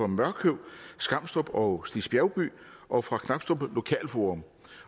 mørkøv skamstrup og stigs bjergby og fra knabstrup lokalforum